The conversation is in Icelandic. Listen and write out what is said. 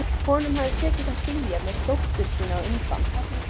Honum hafði tekist að flýja með dóttur sína undan